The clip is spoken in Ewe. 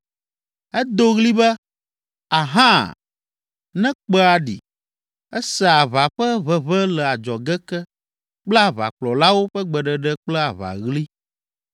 Edo ɣli be, ‘Aha!’ ne kpẽa ɖi. Esea aʋa ƒe ʋeʋẽ le adzɔge ke kple aʋakplɔlawo ƒe gbeɖeɖe kple aʋaɣli.